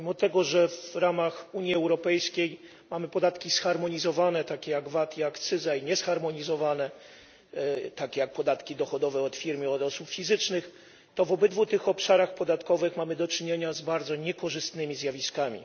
Mimo tego, że w ramach Unii Europejskiej mamy podatki zharmonizowane, takie jak VAT i akcyza, i niezharmonizowane, takie jak podatki dochodowe od firm i od osób fizycznych, to w obydwu tych obszarach podatkowych mamy do czynienia z bardzo niekorzystnymi zjawiskami.